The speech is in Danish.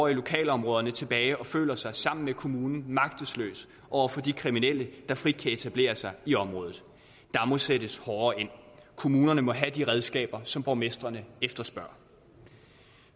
i lokalområdet tilbage og føler sig sammen med kommunen magtesløse over for de kriminelle der frit kan etablere sig i området der må sættes hårdere ind kommunerne må have de redskaber som borgmestrene efterspørger